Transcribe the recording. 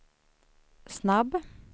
snabb